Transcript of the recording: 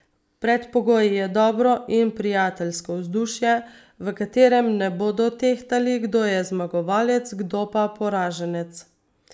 Predpogoj je dobro in prijateljsko vzdušje, v katerem ne bodo tehtali, kdo je zmagovalec, kdo pa poraženec.